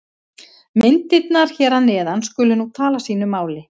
Myndirnar hér að neðan skulu nú tala sínu máli.